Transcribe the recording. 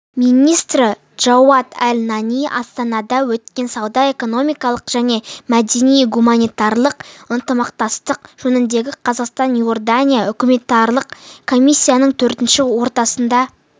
министрі джауат әл-анани астанада өткен сауда-экономикалық және мәдени-гуманитарлық ынтымақтастық жөніндегі қазақстан-иордания үкіметаралық комиссияның төртінші отырысында